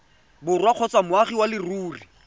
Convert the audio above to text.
borwa kgotsa moagi wa leruri